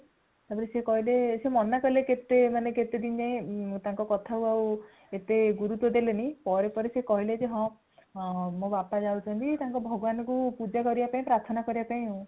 ତାପରେ ସିଏ କହିଲେ ସେ ମନା କଲେ କେତେ ଦିନ ଯାଏ ତାଙ୍କ କଥାକୁ ଏତେ ଗୁରୁତ୍ୱ ଦେଲେନି | ପରେ ପରେ ସେ କହିଲେ ଯେ ହଁ ମୋ ବାପା ଯାଉଛନ୍ତି ତାଙ୍କ ଭଗବାନଙ୍କୁ ପୂଜା କରିବା ପାଇଁ ପ୍ରାର୍ଥନା କରିବା ପାଇଁ ଆଉ